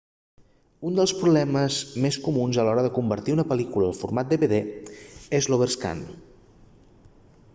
un dels problemes més comuns a l'hora de convertir una pel·lícula al format dvd és l'overscan